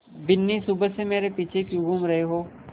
बिन्नी सुबह से मेरे पीछे क्यों घूम रहे हो